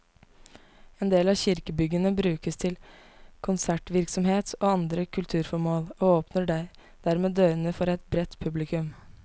En del av kirkebyggene brukes til konsertvirksomhet og andre kulturformål, og åpner dermed dørene for et bredt publikum.